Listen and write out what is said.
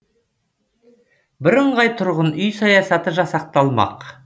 бірыңғай тұрғын үй саясаты жасақталмақ